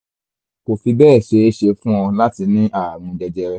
kò fi bẹ́ẹ̀ ṣeé ṣe fún ọ láti ní ààrùn jẹjẹrẹ